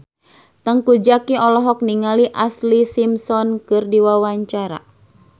Teuku Zacky olohok ningali Ashlee Simpson keur diwawancara